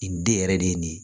Nin den yɛrɛ de ye nin ye